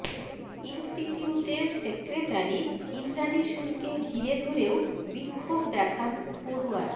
ইন্সটিটিউটের secretary Indrani শূরকে ঘিরে ধরেও বিক্ষোভ দেখান পড়ুয়ারা